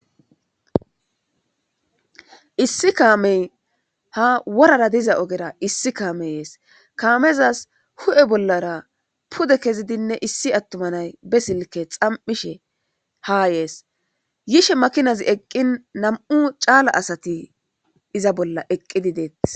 issi kaamey ha worara diza ogera issi kaameyees kaamezas hu7e bollara pude kezidinne issi attumanay be silke xam7ishe haa yees yishe makinazi eqqin nam7u caala asati iza bolla eqqidi deet